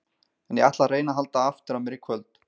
En ég ætla að reyna að halda aftur af mér í kvöld.